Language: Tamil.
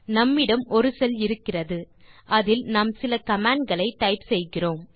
நம்மிடம் ஒரு செல் இருக்கிறது அதில் நாம் சில கமாண்ட் களை டைப் செய்கிறோம்